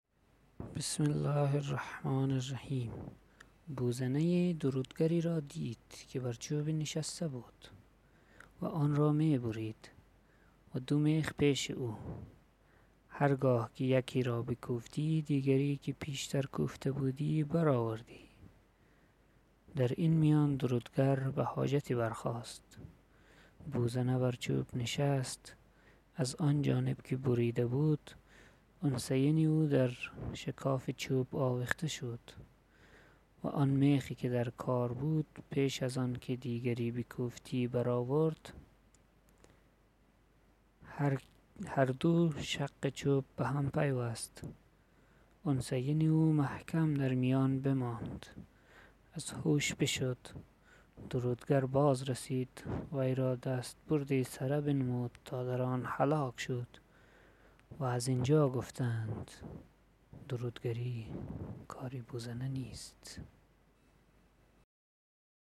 و در میان اتباع او دو شگال بودن یکی را کلیله نام بود و دیگر را دمنه و هر دو دهای تمام داشتند و دمنه حریص تر و بزرگ منش تر بود کلیله را گفت چه می بینی در کار ملک که بر جای قرار کرده ست و حرکت نشاط فروگذاشته کلیله گفت این سخن چه بابت توست و ترا با این سؤال چه کار و ما بر درگاه این ملک آسایشی داریم و طعمه ای می یابیم و از آن طبقه نیستیم که به مفاوضت ملوک مشرف توانند شد تا سخن ایشان به نزدیک پادشاهان محل استماع تواند یافت ازین حدیث درگذر که هرکه به تکلف کاری جوید که سزاوار آن نباشد بدو آن رسد که به بوزنه رسید دمنه گفت چگونه گفت بوزنه ای درودگری را دید که بر چوبی نشسته بود و آن را می برید و دو میخ پیش او هرگاه که یکی را بکوفتی دیگری که پیشتر کوفته بودی برآوردی در این میان درودگر به حاجتی برخاست بوزنه بر چوب نشست از آن جانب که بریده بود انثیین او در شکاف چوب آویخته شد و آن میخ که در کار بود پیش ازانکه دیگری بکوفتی برآورد هر دو شق چوب بهم پیوست انثیین او محکم در میان بماند از هوش بشد درودگر باز رسید وی را دست بردی سره بنمود تا دران هلاک شد و ازینجا گفته اند درودگری کار بوزنه نیست